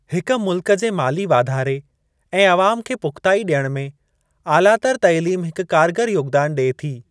हिक मुल्क जे माली वाधारे ऐं अवाम खे पुख़्ताई ॾियण में आलातर तइलीम हिकु कारगर योगदान ॾिए थी।